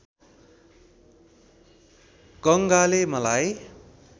गङ्गाले मलाई